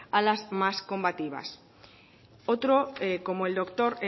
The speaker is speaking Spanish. a las más combativas otro como el doctor